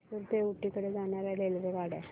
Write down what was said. म्हैसूर ते ऊटी कडे जाणार्या रेल्वेगाड्या